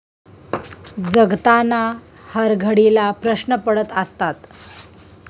जगताना हरघडीला प्रश्न पडत असतात.